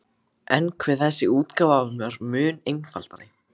En hve þessi útgáfa var mun einfaldari!